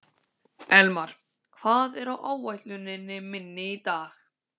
Elmar, hvað er á áætluninni minni í dag?